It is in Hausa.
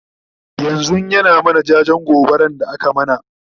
yanzun ya na mana jajen gobaran da aka mana